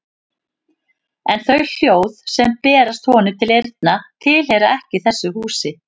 En þau hljóð sem berast honum til eyrna tilheyra ekki þessu húsi.